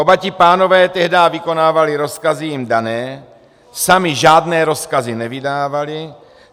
Oba ti pánové tehdy vykonávali rozkazy jim dané, sami žádné rozkazy nevydávali.